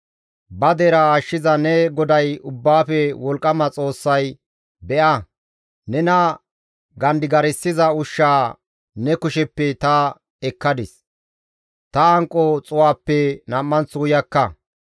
Ba deraa ashshiza ne GODAY Ubbaafe wolqqama Xoossay, «Be7a; nena gandigarssiza ushshaa ne kusheppe ta ekkadis, ta hanqo xuu7aappe nam7anththo uyakka.